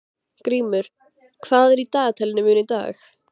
Grímur, hvað er í dagatalinu mínu í dag?